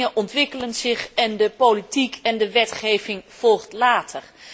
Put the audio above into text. Dingen ontwikkelen zich, en de politiek en de wetgeving volgen later.